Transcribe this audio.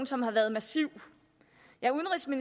som har været massiv ja